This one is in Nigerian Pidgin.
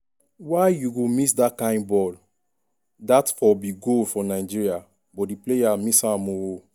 why you go miss dat kain ball?dat for be goal for nigeria but di player miss am ooooo.